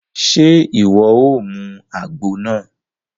Ṣe iwọ o mú àgbo náà?